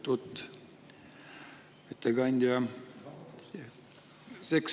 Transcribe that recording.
Lugupeetud ettekandja!